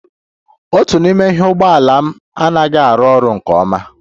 Otu n'ime ụgbọ ala m anaghị arụ ọrụ nke ọma